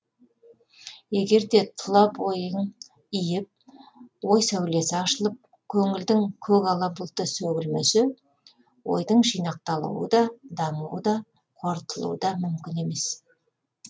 егерде тұла бойың иіп ой сәулесі ашылып көңілдің көк ала бұлты сөгілмесе ойдың жинақталуыда дамуы да қорытылуы да мүмкін емес